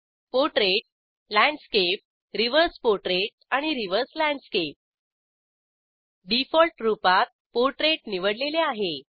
portrait landscape reverse portrait आणि reverse landscape default रूपातPortrait निवडलेले आहे